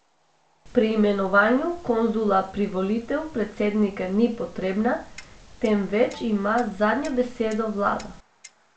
Pri imenovanju konzula privolitev predsednika ni potrebna, temveč ima zadnjo besedo vlada.